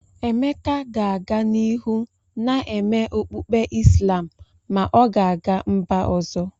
Emeka ga-aga n'ihu na-eme okpukpe Islam ma ọ ga-aga mba ọzọ.